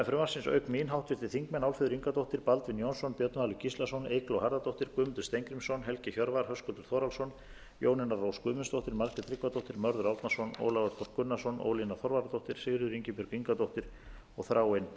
frumvarpsins auk mín háttvirtir þingmenn álfheiður ingadóttir baldvin jónsson björn valur gíslason eygló harðardóttir guðmundur steingrímsson helgi hjörvar höskuldur þórhallsson jónína rós guðmundsdóttir margrét tryggvadóttir mörður árnason ólafur þ gunnarsson ólína þorvarðardóttir sigríður ingibjörg ingadóttir og þráinn